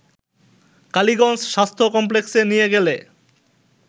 কালীগঞ্জ স্বাস্থ্য কমপ্লেক্সে নিয়ে গেলে